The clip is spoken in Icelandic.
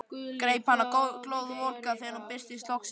Greip hana glóðvolga þegar hún birtist loksins.